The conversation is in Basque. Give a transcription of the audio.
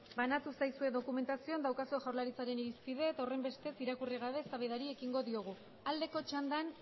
banatu zaizue dokumentazio daukazuen jaurlaritzaren irizpide eta horren bestez irakurri gabe eztabaidari ekingo diogu aldeko txandan